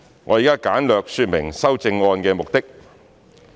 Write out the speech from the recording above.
我現在簡略說明修正案的目的。